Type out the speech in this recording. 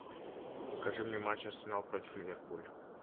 покажи мне матч арсенал против ливерпуль